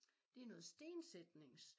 Det noget stensætnings